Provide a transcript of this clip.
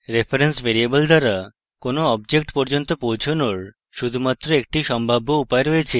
reference variable দ্বারা কোনো object পর্যন্ত পৌঁছনোর শুধুমাত্র একটি সম্ভাব্য উপায় রয়েছে